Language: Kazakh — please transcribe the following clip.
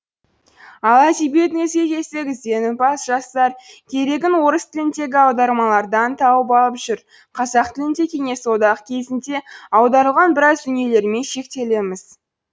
ал әдебиетіңізге келсек ізденімпаз жастар керегін орыс тіліндегі аудармалардан тауып алып жүр қазақ тілінде кеңес одағы кезінде аударылған біраз дүниелермен шектелеміз